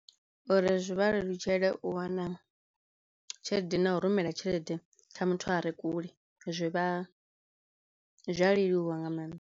Uri zwi vha lelutshele u wana tshelede na u rumela tshelede kha muthu a re kule zwi vha zwi a leluwa nga mannḓa.